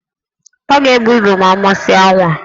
Ọ ga-ebu ibu ma ọ mụsịa nwa?